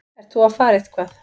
Ert þú að fara eitthvað?